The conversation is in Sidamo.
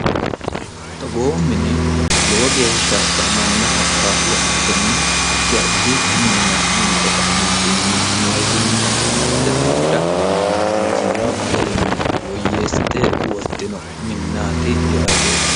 togoo mini lowo geeshshaka mannaho ka lo aatenni addi addi minna minte ka eentinni mootumma gaalate daafira hinjiino garinni woyyeessite wortino minnaati yaate